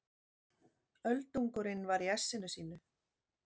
Öldungurinn var í essinu sínu.